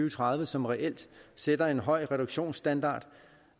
og tredive som reelt sætter en høj reduktionsstandard